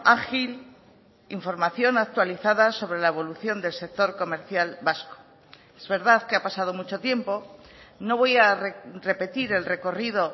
ágil información actualizada sobre la evolución del sector comercial vasco es verdad que ha pasado mucho tiempo no voy a repetir el recorrido